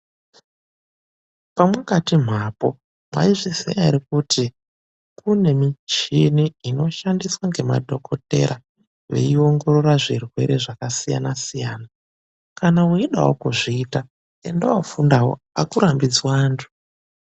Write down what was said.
Pemwakati mhaapo, mwaizviziya ere kuti kune michini inoshandiswa ngemadhokodheya veiongorora zvirwere zvakasiyana-siyana? Kana weidawo kuzviita enda woofundawo, akurambidzwi antu.